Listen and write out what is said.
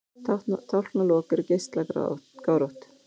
Tálknalok eru geislagárótt.